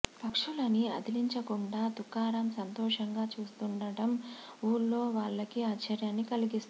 పక్షులని అదిలించకుండా తుకారామ్ సంతోషంగా చూస్తుండటం ఊళ్లో వాళ్లకి ఆశ్చర్యాన్ని కలిగిస్తుంది